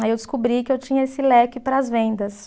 Aí eu descobri que eu tinha esse leque para as vendas.